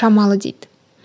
шамалы дейді